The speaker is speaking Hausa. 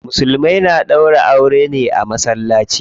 Musulmai na ɗaura aure ne a masallaci.